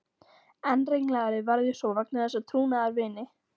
Enn ringlaðri varð ég svo vegna þess að trúnaðarvini